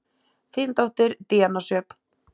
Þín dóttir, Díana Sjöfn.